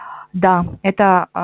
да это а